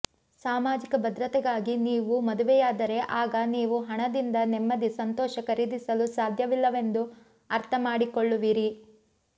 ಸಾಮಾಜಿಕ ಭದ್ರತೆಗಾಗಿ ನೀವು ಮದುವೆಯಾದರೆ ಆಗ ನೀವು ಹಣದಿಂದ ನೆಮ್ಮದಿ ಸಂತೋಷ ಖರೀದಿಸಲು ಸಾಧ್ಯವಿಲ್ಲವೆಂದು ಅರ್ಥ ಮಾಡಿಕೊಳ್ಳುವಿರಿ